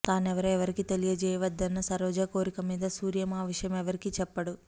తానెవరో ఎవరికీ తెలియచేయ వద్దన్న సరోజ కోరికమీద సూర్యం ఆ విషయం ఎవరికీ చెప్పడు